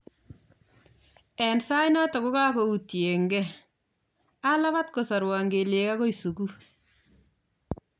en sainaton kogago utyenge , alapaat kosarwan kelyiek agoi suguul